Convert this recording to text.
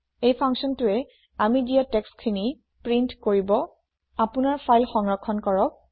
এই functionটোৱে আমি দিয়া টেক্সট খিনি প্ৰীন্ট আওত কৰিব আপুনাৰ ফাইল সংৰক্ষণ কৰক